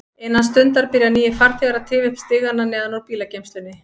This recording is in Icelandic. Innan stundar byrja nýir farþegar að tifa upp stigana neðan úr bílageymslunni.